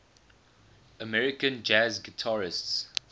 american jazz guitarists